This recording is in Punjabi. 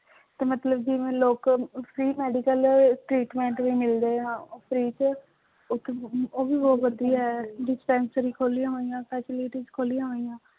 ਤੇ ਮਤਲਬ ਜਿਵੇਂ ਲੋਕ free medical treatment ਵੀ ਮਿਲਦੇ ਆ free ਚ ਉੱਥੇ ਉਹ ਵੀ ਬਹੁਤ ਵਧੀਆ ਹੈ dispensary ਖੋਲੀ ਹੋਈਆਂ facilities ਖੋਲੀਆਂ ਹੋਈਆਂ।